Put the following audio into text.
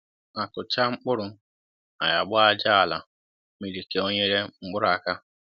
akụ cháa mkpụrụ, anyị a gbaa aja àlà mmiri ka o nyere mkpụrụ aka